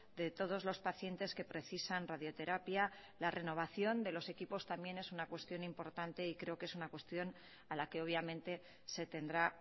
de todos los pacientes que precisan radioterapia la renovación de los equipos también es una cuestión importante y creo que es una cuestión a la que obviamente se tendrá